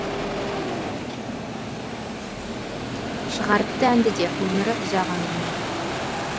шығарыпты әнді де өмірі ұзақ әңгіме